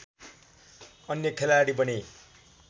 अन्य खेलाडी बने